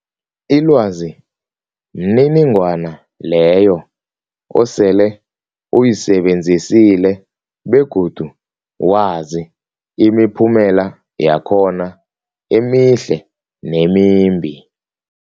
Ilwazi mniningwana leyo osele uyisebenzisile begodu wazi imiphumela yakhona emihle nemimbi.